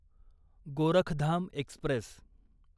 Gorakhdham Express